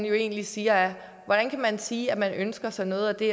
egentlig siger er hvordan kan man sige at man ønsker sig noget af det